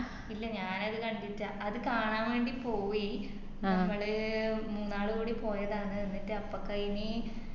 ഇല്ല ഞാനത് കണ്ടിറ്റ്ലാ അത് കാണാൻ വേണ്ടി പോയി നമ്മള് മൂന്നാളുടി പോയതാണ് അപ്പക്കയിന്